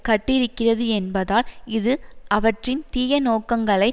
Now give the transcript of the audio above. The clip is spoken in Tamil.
கட்டியிருக்கிறது என்பதால் இது அவற்றின் தீய நோக்கங்களை